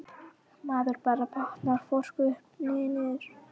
Maður bara botnar hvorki upp né niður.